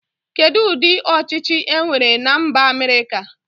Kedu ụdị ọchịchi e nwere na mba Amerika.